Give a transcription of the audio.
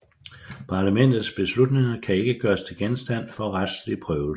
Parlamentets beslutninger kan ikke gøres til genstand for retslig prøvelse